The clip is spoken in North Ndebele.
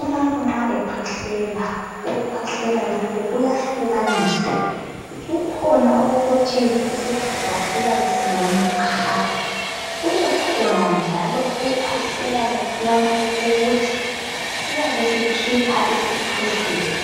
Umuntu nxa ekhwehlela ,ukukhwehlela lokhu kuyahlukaniswa kukhona okokuthi isifuba siyabe siwome qha ,kubekhona njalo ukukhwehlela lokhuyana okokuthi siyabe sikhipha isikhwehlela